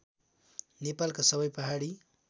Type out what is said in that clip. नेपालका सबै पहाडी